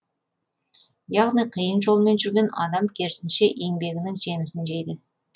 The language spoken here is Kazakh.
яғни қиын жолмен жүрген адам керісінше еңбегінің жемісін жейді